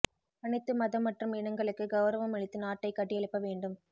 அனைத்து மதம் மற்றும் இனங்களுக்கு கௌரவம் அளித்து நாட்டை கட்டியெழுப்ப வேண்டும்